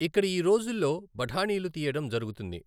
ఇక్కడ ఈ రోజుల్లో బఠానీలు తీయడం జరుగుతుంది.